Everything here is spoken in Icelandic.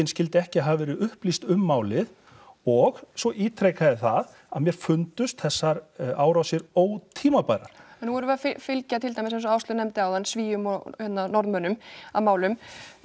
skyldi ekki hafa verið upplýst um málið og svo ítreka ég það að mér fundust þessar árásir ótímabærar en nú erum við að fylgja til dæmis eins og Áslaug nefndi áðan Svíum og hérna Norðmönnum að málum